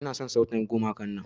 Ina son sautin gumakan nan.